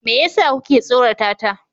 Me yasa kuke tsorata ta?